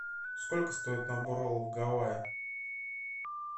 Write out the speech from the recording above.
сколько стоит набор роллов гавайи